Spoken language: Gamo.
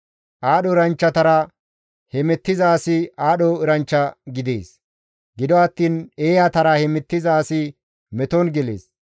Aadho eranchchatara hemettiza asi aadho eranchcha gidees; gido attiin eeyatara hemettiza asi meton gelees.